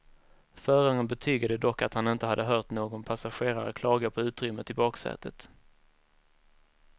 Föraren betygade dock att han inte hade hört någon passagerare klaga på utrymmet i baksätet.